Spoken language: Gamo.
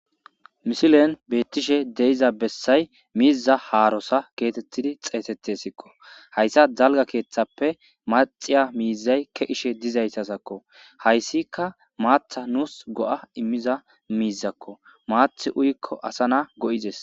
misilen betishe de'ixa bessay miiza haarosa getettidi xeetetesikko, hayssa dalga keeththappe maxiya miizay ke'ishe dizayzako, hayssikka maatha nuus go7a immiza miizakko maathi uyikko asa na go7izes